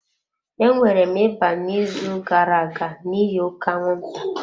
Enwere m ịba n'izu gara-aga n'ihi oke anwụnta.